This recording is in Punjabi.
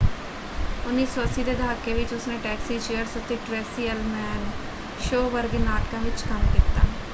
1980 ਦੇ ਦਹਾਕੇ ਵਿੱਚ ਉਸਨੇ ਟੈਕਸੀ ਚੀਅਰਸ ਅਤੇ ਟ੍ਰੇਸੀ ਅਲਮੈਨ ਸ਼ੋਅ ਵਰਗੇ ਨਾਟਕਾਂ ਵਿੱਚ ਕੰਮ ਕੀਤਾ।